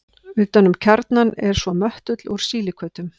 Utan um kjarnann er svo möttull úr sílíkötum.